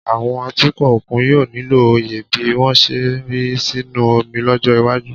Àwọn atukọ̀ òkun yóò nílò òye bí wọ́n ṣe ń rì sínú omi lọ́jọ́ iwájú